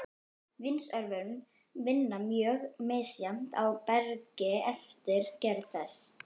Vindsvörfun vinnur mjög misjafnt á bergi eftir gerð þess.